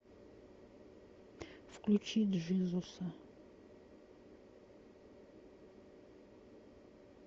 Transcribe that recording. включи джизуса